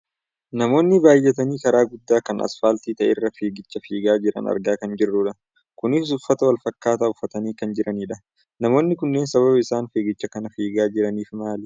Namoota baayyatanii karaa guddaa kan asfaaltii ta'e irra fiigicha fiigaa jiran argaa kan jirrudha. Kunis uffata wal fakkaataa uffatanii kan jiranidha. Namoonni kunneen sababa isana fiigicha kana fiigaa jiraniif maali?